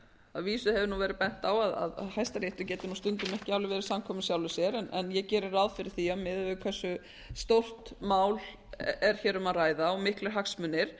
að vísu hefur verið bent á að hæstiréttur getur stundum ekki alveg verið samkvæmur sjálfum sér en ég geri ráð fyrir því að miðað við hversu stórt mál er um að ræða og miklir hagsmunir